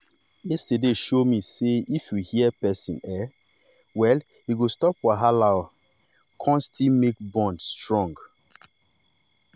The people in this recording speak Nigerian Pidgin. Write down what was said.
yesterday show me say if you hear person um well e go stop wahala um kon still make bond strong.